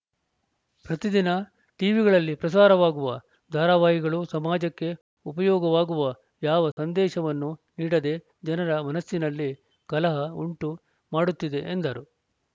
ಪ್ರತಿದಿನ ಟಿವಿಗಳಲ್ಲಿ ಪ್ರಸಾರವಾಗುವ ಧಾರಾವಾಹಿಗಳು ಸಮಾಜಕ್ಕೆ ಉಪಯೋಗವಾಗುವ ಯಾವ ಸಂದೇಶವನ್ನು ನೀಡದೇ ಜನರ ಮನಸ್ಸಿನಲ್ಲಿ ಕಲಹ ಉಂಟು ಮಾಡುತ್ತಿದೆ ಎಂದರು